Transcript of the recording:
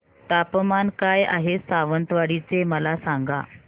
तापमान काय आहे सावंतवाडी चे मला सांगा